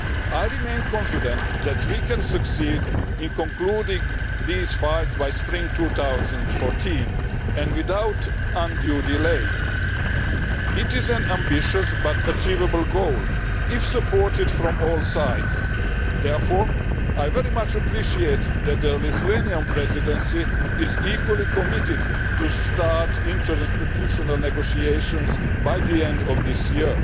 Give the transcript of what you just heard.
I remain confident that we can succeed in concluding these files by spring 2014 and without undue delay. It is an ambitious but achievable goal if it is supported from all sides. Therefore, I very much appreciate that the Lithuanian Presidency is equally committed to starting interinstitutional negotiations by the end of this year.